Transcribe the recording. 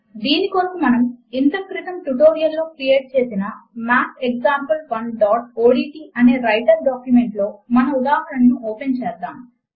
దీని కొరకు మనము ఇంతక్రితము ట్యుటోరియల్ లో క్రియేట్ చేసిన mathexample1ఓడ్ట్ అనే వ్రైటర్ డాక్యుమెంట్ లో మన ఉదాహరణను ఓపెన్ చేద్దాము